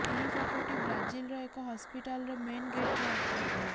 ଏହି ଫଟୋଟି ବ୍ରାଜିଲର ଏକ ହସପିଟାଲର ମେନ ଗେଟର ଅଟେ